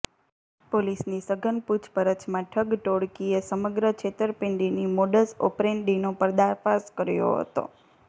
પોલીસની સઘન પૂછપરછમાં ઠગ ટોળકીએ સમગ્ર છેતરપીંડીની મોડસ ઓપરેન્ડીનો પર્દાફાશ કર્યો હતો